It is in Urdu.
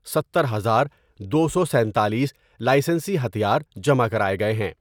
ستر ہزار دو سو سنتالیس لائیسنسی ہتھیار جمع کراۓ گئے ہیں ۔